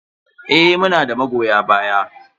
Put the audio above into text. Eh, muna da magoya baya.